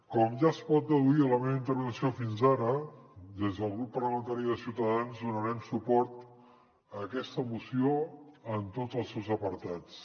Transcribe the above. com ja es pot deduir de la meva intervenció fins ara des del grup parlamentari de ciutadans donarem suport a aquesta moció en tots els seus apartats